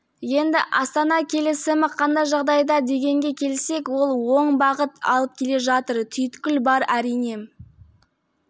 енді астана келісімі қандай жағдайда дегенге келсек ол оң бағыт алып келе жатыр түйткіл бар әрине